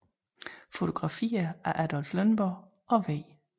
Fotografier af Adolph Lønborg og W